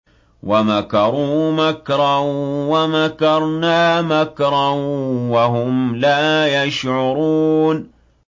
وَمَكَرُوا مَكْرًا وَمَكَرْنَا مَكْرًا وَهُمْ لَا يَشْعُرُونَ